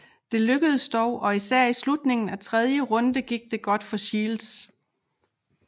Det lykkedes dog og især i slutningen af tredje runde gik det godt for Shields